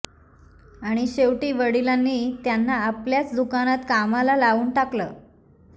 आणि शेवटी वडिलांनी त्यांना आपल्याच दुकानात कामाला लावून टाकलं